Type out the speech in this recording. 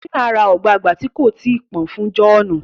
Tina rá ogbagba tí kò tíì pọn fún John